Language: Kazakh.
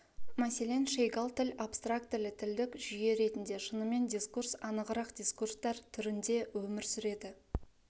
мәселен шейгал тіл абстрактілі тілдік жүйе ретінде шынымен дискурс анығырақ дискурстар түрінде өмір сүреді